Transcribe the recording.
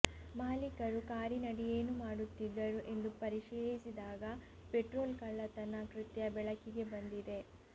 ಮಾಲೀಕರು ಕಾರಿನಡಿ ಏನು ಮಾಡುತ್ತಿದ್ದರು ಎಂದು ಪರಿಶೀಲಿಸಿದಾಗ ಪೆಟ್ರೋಲ್ ಕಳ್ಳತನ ಕೃತ್ಯ ಬೆಳಕಿಗೆ ಬಂದಿದೆ